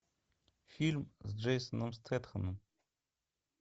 фильм с джейсоном стэтхэмом